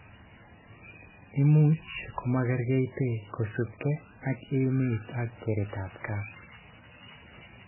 Imuch komakerkeitke kosubke ak emet ak keretab gaa